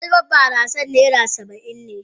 Kwalban barasan naira Saba'in ne.